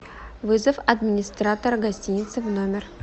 вызов администратора гостиницы в номер